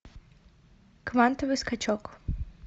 квантовый скачок